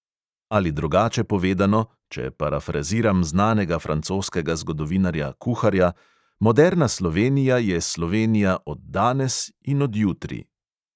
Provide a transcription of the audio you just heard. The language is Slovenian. Ali drugače povedano, če parafraziram znanega francoskega zgodovinarja kuharja: moderna slovenija je slovenija od danes in od jutri.